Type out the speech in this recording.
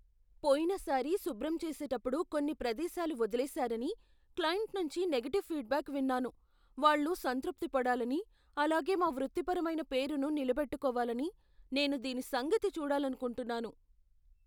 పోయినసారి శుభ్రం చేసేటప్పుడు కొన్ని ప్రదేశాలు వదిలేసారని క్లయింట్ నుంచి నెగటివ్ ఫీడ్బ్యాక్ విన్నాను. వాళ్ళు సంతృప్తి పడాలని, అలాగే మా వృత్తిపరమైన పేరును నిలబెట్టుకోవాలని నేను దీని సంగతి చూడాలనుకుంటున్నాను.